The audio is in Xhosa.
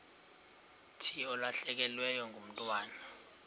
thi ulahlekelwe ngumntwana